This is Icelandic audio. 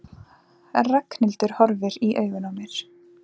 Ragnhildur horfir í augun á mér.